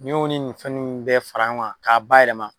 Ni y'o ni nin fɛn nunnu bɛɛ fara ɲɔgɔn kan ,ka bayɛlɛma